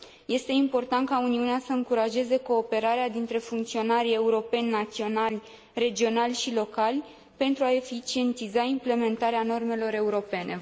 Este important ca Uniunea să încurajeze cooperarea dintre funcționarii europeni, naționali, regionali și locali pentru a eficientiza implementarea normelor europene.